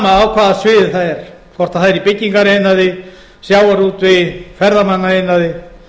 hvaða sviði það er hvort það er í byggingariðnaði sjávarútvegi ferðamannaiðnaði